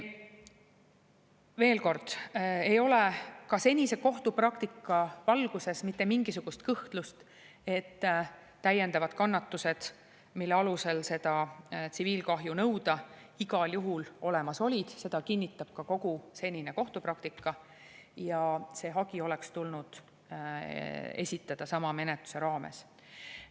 Veel kord: ei ole ka senise kohtupraktika valguses mitte mingisugust kõhklust, et täiendavad kannatused, mille alusel seda tsiviilkahju nõuda, igal juhul olemas olid – seda kinnitab ka kogu senine kohtupraktika – ja see hagi oleks tulnud esitada sama menetluse raames.